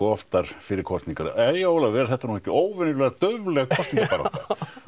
oftar fyrir kosningar jæja Ólafur er þetta ekki óvenjulega daufleg kosningabarátta og